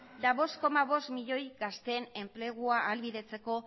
eta bost koma bost milioi gazteen enplegua ahalbidetzeko